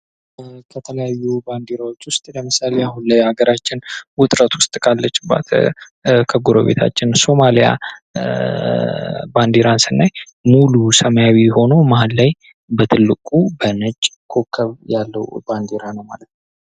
የተለያዩ ባንዲራዎች ውስጥ ለምሳሌ አሁን ላይ ሀገራችን ውጥረት ካለችበት ሱማሊያ ባንዴራ ስናይ ሙሉ ሰማያዊ ሆኖ በትልቁ ማህል ላይ በነጭ ኮኮብ ያለው ባንዴራ ነው ማለት ነው።